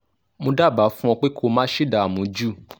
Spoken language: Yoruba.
mo dábàá fún ọ pé kó o má ṣe dààmú jù